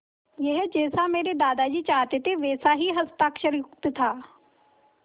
यह जैसा मेरे दादाजी चाहते थे वैसा ही हस्ताक्षरयुक्त था